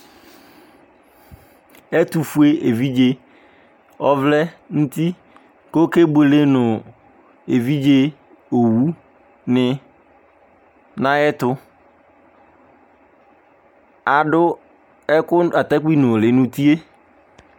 Ɛtʋfue evidze ɔvlɛ nʋ uti kʋ ɔkebuele nʋ evidze owunɩ nʋ ayɛtʋ Adʋ ɛkʋ atakpuinʋlɩ nʋ uti yɛ